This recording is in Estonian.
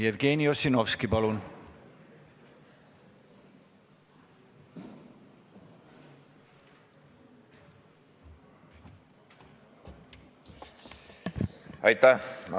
Jevgeni Ossinovski, palun!